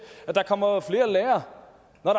at der kommer flere lærere når